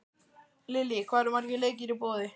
Lillý, eru margir leikir í boði?